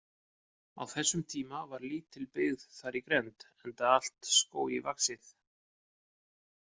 Á þessum tíma var lítil byggð þar í grennd, enda allt skógi vaxið.